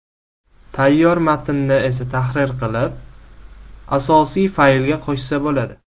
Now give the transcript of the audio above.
Tayyor matnni esa tahrir qilib, asosiy faylga qo‘shsa bo‘ladi.